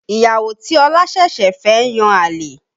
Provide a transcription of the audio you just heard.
Ìyàwó tí Ọ̀la ṣẹ̀ṣẹ̀ fẹ́ ń yan àlè